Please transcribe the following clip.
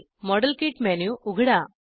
model kit menu उघडा